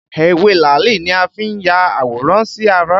Ewé làálì ni a fi n ya àwòrán sí ara